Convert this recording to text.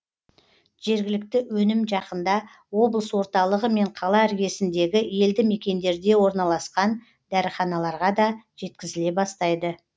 жергілікті өнім жақында облыс орталығы мен қала іргесіндегі елді мекендерге орналасқан дәріханаларға да жеткізіле бастайды